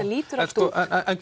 lítur allt út en